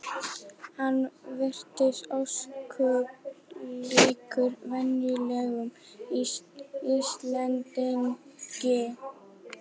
Hann virtist ósköp líkur venjulegum Íslendingi.